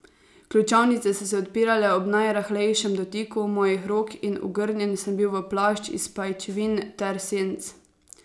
Ključavnice so se odpirale ob najrahlejšem dotiku mojih rok in ogrnjen sem bil v plašč iz pajčevin ter senc.